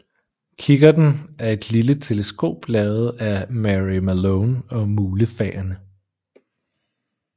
Kikkerten er et lille teleskop lavet af Mary Malone og mulefaerne